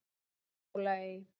Dyrhólaey